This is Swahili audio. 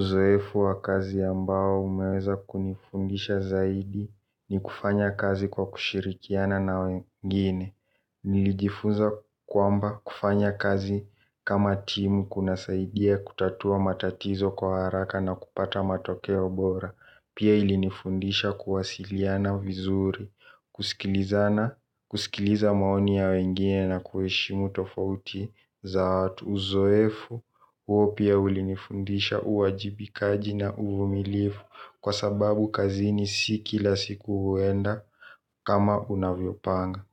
Uzoefu wa kazi ambao umeweza kunifundisha zaidi ni kufanya kazi kwa kushirikiana na wengine. Nilijifunza kwamba kufanya kazi kama timu kuna saidia kutatua matatizo kwa haraka na kupata matokeo bora. Pia ilinifundisha kuwasiliana vizuri, kusikiliza maoni ya wengine na kueshimu tofauti za watu. Uzoefu huo pia ulinifundisha uajibikaji na uvumilifu kwa sababu kazini si kila siku huenda kama unavyo panga.